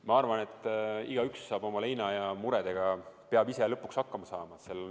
Ma arvan, et igaüks peab oma leina ja muredega ise lõpuks hakkama saama.